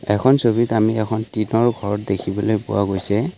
এখন ছবিত আমি এখন টিঙৰ ঘৰ দেখিবলৈ পোৱা গৈছে।